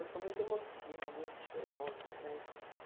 Eu sou muito emotiva, muito chorona né.